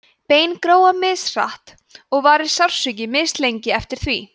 bein gróa mishratt og varir sársauki mislengi eftir því